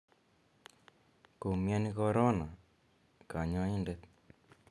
Komiani korona kanyoindet.